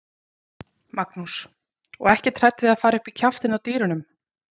Magnús: Og ekkert hrædd við að fara upp í kjaftinn á dýrunum?